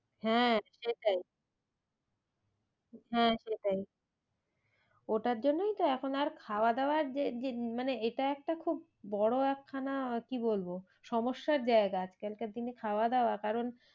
হ্যাঁ সেটাই হ্যাঁ সেটাই ওটার জন্যই তো এখন আর খাওয়া দাওয়া মানে এটা একটা খুব বড়ো একখানা কি বলবো সমস্যার জায়গা আজ কালকার দিনে খাওয়া দাওয়া কারণ